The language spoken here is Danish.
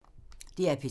DR P3